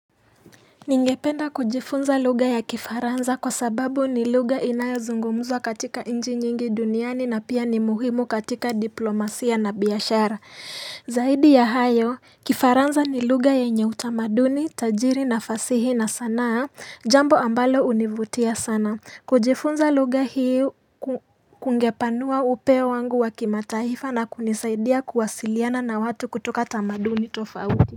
Ningependa kujifunza lugha ya kifaranza kwa sababu ni lugha inayozungumzwa katika nchi nyingi duniani na pia ni muhimu katika diplomasia na biashara. Zaidi ya hayo, kifaranza ni lugha yenye utamaduni, tajiri na fasihi na sanaa, jambo ambalo hunivutia sana. Kujifunza lugha hii kungepanua upeo wangu wa kimataifa na kunisaidia kuwasiliana na watu kutoka tamaduni tofauti.